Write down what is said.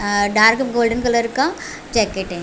अ dark golden colour का jacket है।